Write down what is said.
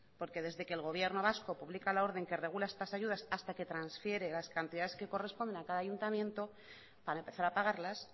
porque desde que el gobierno vasco publica la orden que regula estas ayudas hasta que transfiere las cantidades que corresponde a cada ayuntamiento para empezar a pagarlas